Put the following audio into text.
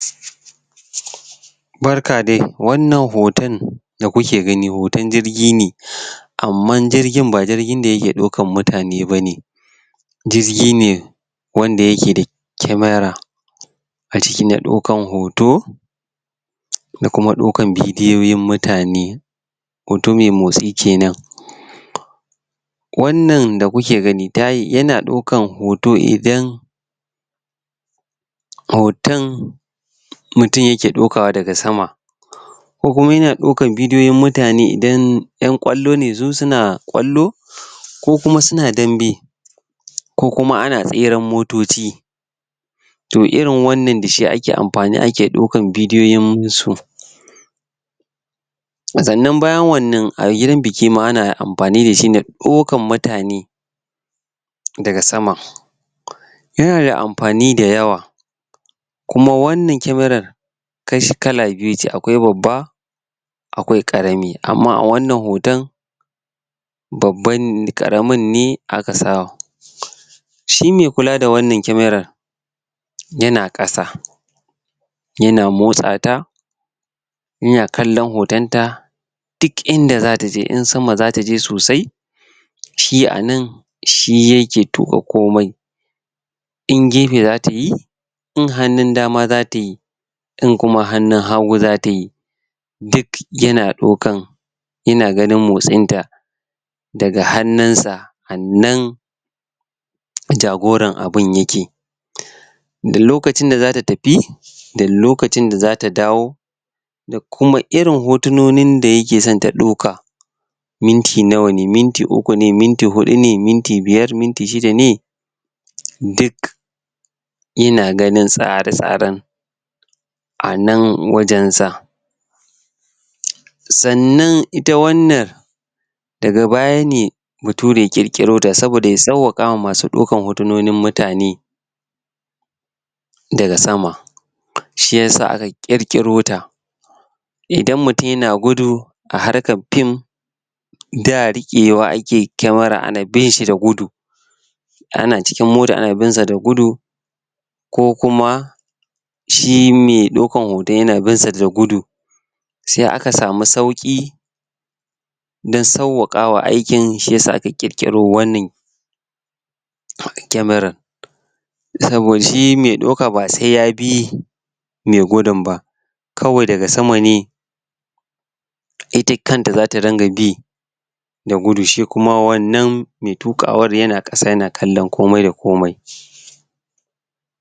Barka dai! wannan hoton da kuke gani hoton jirgi ne, amman jirgin ba jirgin da ya ke ɗaukar mutane ba ne, jirgi ne wanda ya ke da camera a ciki na ɗaukan hoto da kuma ɗaukan bidiyoyin mutane, hoto mai motsi kenan, wannan da ku ke gani ya na ɗaukar hoto idan hoton mutum ya ke ɗauka daga sama, ko kuma ya ɗaukar bidiyoyin mutane idan 'yan ƙwallo ne idan su na ƙwallo, ko kuma su na dambe, ko kuma ana tseren motoci, to irin wannan da shi ake amfani ake ɗaukar bidiyoyinsu, sannan baya wannan a gidan biki ma ana amfani da shi na ɗaukar mutane daga sama, ya na da amfani da yawa kuma wanan kyamarar kashi kala biyu ce akwai babba akwai ƙarami, amma a wannan hoton babban....ƙaramin ne a ka sa, shi ma i kula da wannan kyamarar, ya na ƙasa ya na motsa ta ya na kallon hotonta, duk inda zata je, in sama za ta je sosai shi anan shi ya ke tuƙa komai in gefe zata yi in hannun dama za ta yi in kuma hannun haggu za ta yi duk ya na ɗaukan ya na ganin motsinta, daga hannunsa a nan jagoran abun ya ke, da lokacin da za ta tafi da lokacin da za ta dawo da kuma irin hotinonin da ya ke so ta ɗauka minti nawa ne, minti uku ne, minti huɗu ne, minti biyar minti shida ne duk ya na ganin tsare-tsaren a nan wajensa, sannan ita wannan daga baya ne bature ya ƙirƙirota saboda ya sawwaƙawa ma su ɗaukar hotunonin mutane daga sama, shiyasa aka ƙirƙirota idan mutum ya na gudu a harkar film da riƙewa ake camera ana bin shi da gudu, ana cikin mota ana bin shi da gudu, ko kuma shi mai ɗaukar hoton ya na bin shi da gudu, sai aka samu sauƙi na sawwaƙawa aikin shi ya sa aka ƙirƙiro wannan kyamarar, saboda shi mai ɗauka ba sai ya bi mai gudun ba, kawai daga sama ne ita kanta za ta dinga bi da gudu shi kuma wannan mai tuƙawar ya na ƙasa ya na kallon komai da komai.